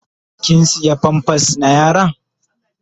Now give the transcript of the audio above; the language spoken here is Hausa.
Kin siya "pampers "na yaron?